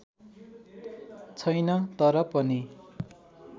छैन तर पनि